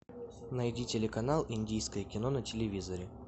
найди телеканал индийское кино на телевизоре